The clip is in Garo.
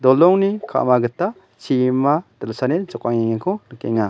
dolongni ka·ma gita chibima dilsani jokangengako nikenga.